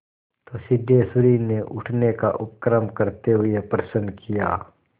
तो सिद्धेश्वरी ने उठने का उपक्रम करते हुए प्रश्न किया